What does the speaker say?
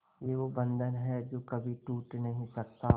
ये वो बंधन है जो कभी टूट नही सकता